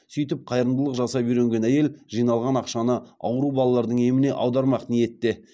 сөйтіп қайырымдылық жасап үйренген әйел жиналған ақшаны ауру балалардың еміне аудармақ ниетте